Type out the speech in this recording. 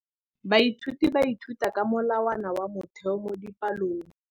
Baithuti ba ithuta ka molawana wa motheo mo dipalong.